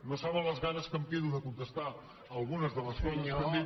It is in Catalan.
no saben amb les ganes que em quedo de contestar algunes de les coses que han dit